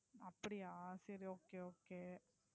அப்படியா சரி Okay Okay